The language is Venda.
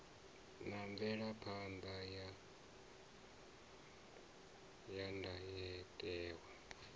na mvelaphan ḓa ya ndayotewa